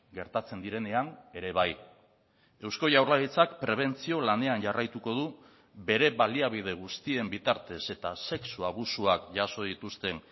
gertatzen direnean ere bai eusko jaurlaritzak prebentzio lanean jarraituko du bere baliabide guztien bitartez eta sexu abusuak jaso dituzten